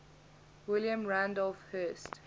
william randolph hearst